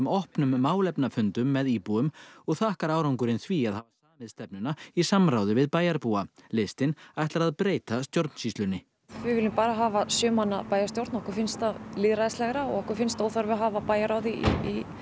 opnum málefnafundum með íbúum og þakkar árangurinn því að hafa samið stefnuna í samráði við bæjarbúa listinn ætlar að breyta stjórnsýslunni við viljum bara hafa sjö manna bæjarstjórn okkur finnst það lýðræðislegra okkur finnst óþarfi að hafa bæjarráð í